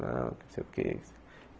Não, não sei o que.